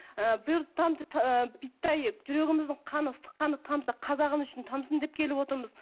жүрегіміздің қаны ыстық қаны тамса қазағым үшін тамсын деп келіп отырмыз